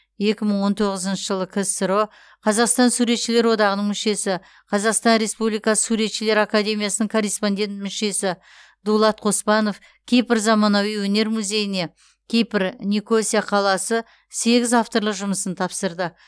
екі мың он тоғызыншы жылы ксро қазақстан суретшілер одағының мүшесі қазақстан республикасы суретшілер академиясының корреспондент мүшесі дулат қоспанов кипр заманауи өнер музейіне кипр никосия қаласы сегіз авторлық жұмысын тапсырды